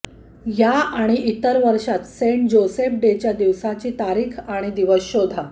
या आणि इतर वर्षांत सेंट जोसेफ डेच्या दिवसाची तारीख आणि दिवस शोधा